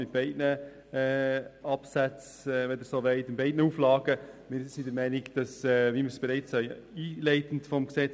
Wir lehnen Diskriminierung klar ab, wie wir dies in der Diskussion bereits gesagt haben.